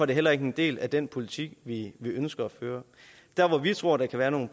det heller ikke en del af den politik vi ønsker at føre der hvor vi tror der kan være nogle